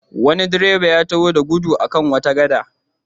Wani direba ya taho da gudu a kan wata gada.